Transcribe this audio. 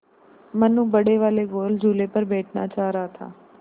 मनु बड़े वाले गोल झूले पर बैठना चाह रहा था